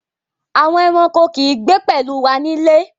Àwọn ẹ̀ràṇkò kì í gbé pẹ̀lú wà nílé.